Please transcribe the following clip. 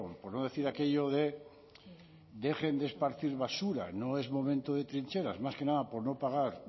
por no decir aquello de dejen de esparcir basura no es momento de trincheras más que nada por no pagar